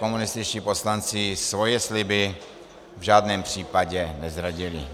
Komunističtí poslanci svoje sliby v žádném případě nezradili.